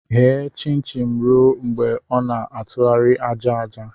Ghe chin-chin ruo mgbe ọ na-atụgharị aja aja!